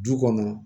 Du kɔnɔ